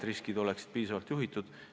Riskid võiks olla piisavalt juhitud.